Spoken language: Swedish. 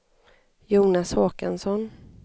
Jonas Håkansson